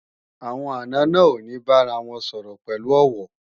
Àwọn àna náà ò ní bára wọn sọ̀rọ̀ pẹ̀lú ọ̀wọ̀